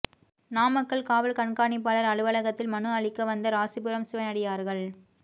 நாமக்கல் காவல் கண்காணிப்பாளா் அலுவலகத்தில் மனு அளிக்க வந்த ராசிபுரம் சிவனடியாா்கள்